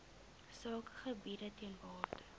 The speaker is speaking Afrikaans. sakegebiede ter waarde